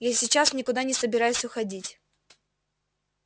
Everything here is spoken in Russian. я сейчас никуда не собираюсь уходить